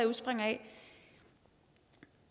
udspringer af